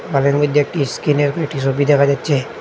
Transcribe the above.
ওয়াল -এর মধ্যে একটি স্ক্রিন -এর কয়টি ছবি দেখা যাচ্ছে।